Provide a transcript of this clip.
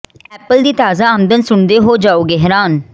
apple ਦੀ ਤਾਜ਼ਾ ਆਮਦਨ ਸੁਣ ਦੇ ਹੋ ਜਾਓਗੇ ਹੈਰਾਨ